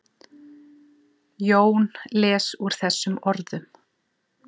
Jón les úr þessum orðum.